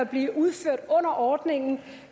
blive udført under ordningen